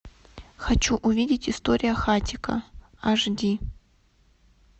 хочу увидеть история хатико аш ди